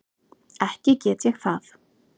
Ekki get ég það.